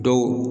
Dɔw